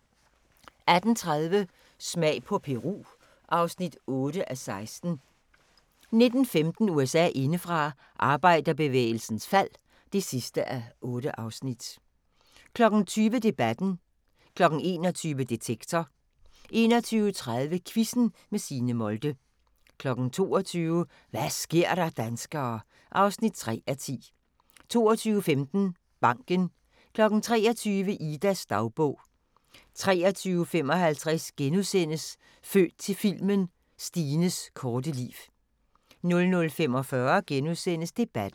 18:30: Smag på Peru (8:16) 19:15: USA indefra: Arbejderbevægelsens fald (8:8) 20:00: Debatten 21:00: Detektor 21:30: Quizzen med Signe Molde 22:00: Hva' sker der, danskere? (3:10) 22:15: Banken 23:00: Idas dagbog 23:55: Født til filmen – Stines korte liv * 00:45: Debatten *